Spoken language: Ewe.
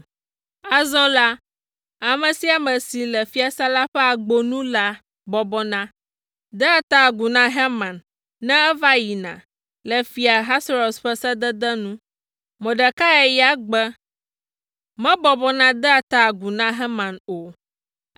Azɔ la, ame sia ame si le fiasã la ƒe agbo nu la bɔbɔna, dea ta agu na Haman ne eva yina, le Fia Ahasuerus ƒe sedede nu. Mordekai ya gbe, mebɔbɔna dea ta agu na Haman o.